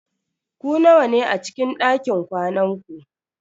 Ku nawa ne a cikin dakin kwanan ku?